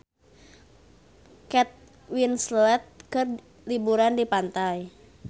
Kate Winslet keur liburan di pantai